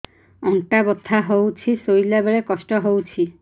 ଅଣ୍ଟା ବଥା ହଉଛି ଶୋଇଲା ବେଳେ କଷ୍ଟ ହଉଛି